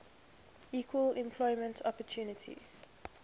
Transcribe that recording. equal employment opportunity